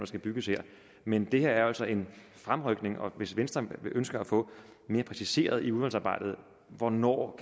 skal bygges her men det her er jo altså en fremrykning og hvis venstre ønsker at få det mere præciseret i udvalgsarbejdet hvornår